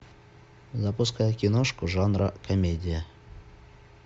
запускай киношку жанра комедия